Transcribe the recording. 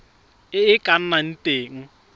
e e ka nnang teng